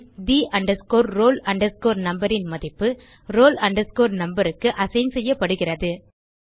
bin the roll numberன் மதிப்பு roll numberக்கு அசைன் செய்யப்படுகிறது